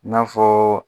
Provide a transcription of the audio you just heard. I n'a fɔɔ